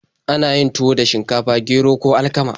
Ana yin tuwo da shinkafa, gero, ko alkama.